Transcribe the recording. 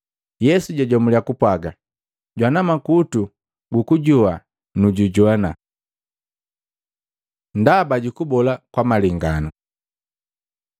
Yesu jajomulia kupwaga, “Jwana makutu gukujoa nujujoana!” Ndaba jukubola kwa malenganu Maluko 4:10-12; Luka 8:9-10